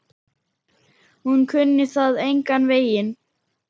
Hún kunni það engan veginn.